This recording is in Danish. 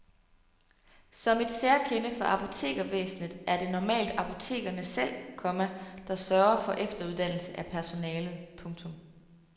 Som et særkende for apotekervæsenet er det normalt apotekerne selv, komma der sørger for efteruddannelse af personalet. punktum